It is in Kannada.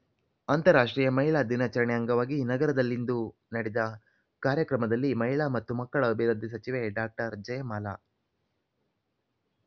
ಅಂತರರಾಷ್ಟ್ರೀಯ ಮಹಿಳಾ ದಿನಾಚರಣೆ ಅಂಗವಾಗಿ ನಗರದಲ್ಲಿಂದು ನಡೆದ ಕಾರ್ಯಕ್ರಮದಲ್ಲಿ ಮಹಿಳಾ ಮತ್ತು ಮಕ್ಕಳ ಅಭಿವೃದ್ಧಿ ಸಚಿವೆ ಡಾಕ್ಟರ್ ಜಯಮಾಲಾ